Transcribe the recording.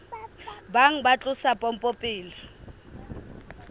bang ba tlosa pompo pele